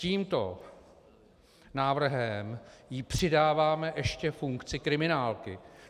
Tímto návrhem jí přidáváme ještě funkci kriminálky.